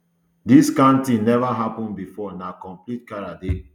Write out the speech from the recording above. dis kind tin neva happun bifor na complete charade